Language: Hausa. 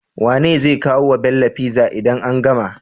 Wane zai kawo wa Bello pizza idan an gama?